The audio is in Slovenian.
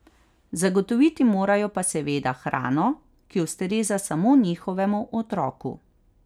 Zagotoviti morajo pa seveda, hrano, ki ustreza samo njihovemu otroku.